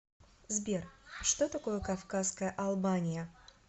сбер что такое кавказская албания